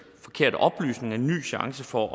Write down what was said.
forkerte oplysninger en ny chance for